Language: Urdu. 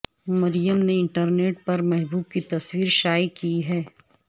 مریم نے انٹرنیٹ پر محبوب کی تصویر شائع کی ہے